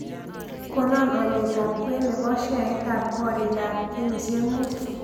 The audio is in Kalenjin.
Konon alyetap kween ne po sheaitap koorikap kenyisyek muut